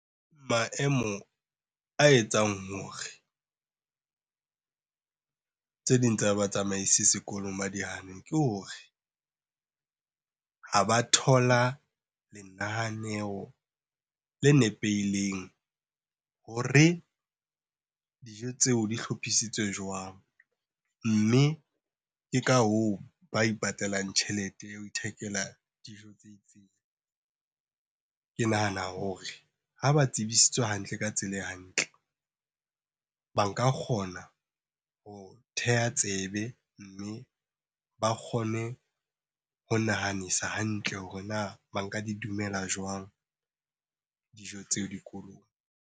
Maemo a etsang hore tse ding tsa batsamaisi sekolong ba di hane ke hore ha ba thola lenaneo le nepeileng hore na dijo tseo di hlophisitswe jwang? Mme ke ka hoo ba ipatallang tjhelete ya ho ithekela dijo . Ke nahana hore ha ba tsebisitswe hantle ka tsela e hantle, ba nka kgona ho theha tsebe. Mme ba kgone ho nahanisa hantle hore na ba nka di dumela jwang dijo tseo dikolong.